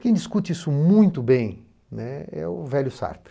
Quem discute isso muito bem, né, é o velho Sartre.